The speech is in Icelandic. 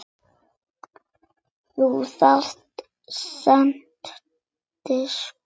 Þú verður seint biskup!